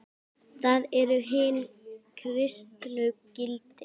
Það eru hin kristnu gildi.